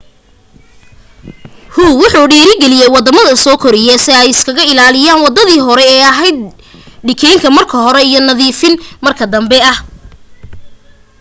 hu wuxu dhiirigeliyay waddamada soo koraya si ay isaga ilaaliyaan wadadii horii ee ahayd dikhayn marka hore ah iyo nadiifin marka danbe ah.